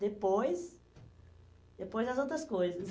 Depois, depois as outras coisas.